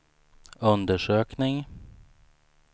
undersökning